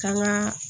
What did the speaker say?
Kan ga